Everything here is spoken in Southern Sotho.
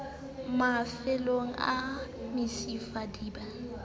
mafellong a mesifa di ba